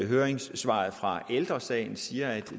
høringssvaret fra ældre sagen siger at